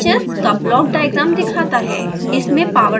चित्र sbhs का block diagram दिखाता है